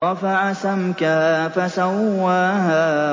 رَفَعَ سَمْكَهَا فَسَوَّاهَا